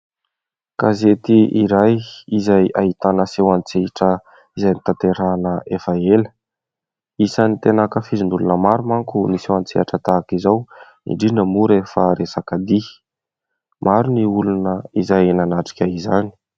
Gazety iray izay ahitana seho an-tsehatra izay notanterahana efa ela, isany tena ankafizin'olona maro manko ny seho an-tsehatra tahaka izao indrindra moa rehefa resaka dihy, maro ny olona izay nanatrika izany.